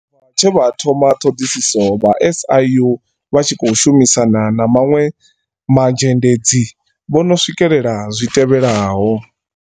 Tshe vha thoma ṱhoḓisiso, vha SIU, vha tshi khou shumisana na maṅwe mazhendedzi, vho no swikelela zwi tevhelaho.